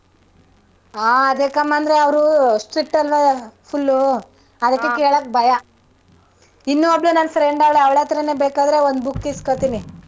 ಆಹ್ ಅದೇಕ್ಕಮ್ಮ ಅಂದ್ರೆ ಅವ್ರು strict ಅಲ್ವಾ full ಉ ಅದಿಕ್ಕೆ ಕೇಳಕ್ ಭಯ ಇನ್ನೂ ಒಬ್ಳು ನನ್ನ್ friend ಅವ್ಳೆ ಅವ್ಳತ್ರಾನೇ ಬೇಕಾರೆ ಒಂದ್ book ಇಸ್ಕತೀನಿ.